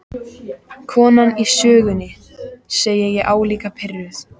Konan í sögunni, segi ég álíka pirruð.